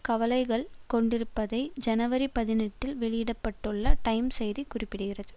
கவலைகள் கொண்டிருப்பதை ஜனவரி பதினெட்டில் வெளியிட பட்டுள்ள டைம்ஸ் செய்தி குறிப்பிடுகிறது